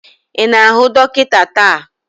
Ị na-ahụ dọkịta taa?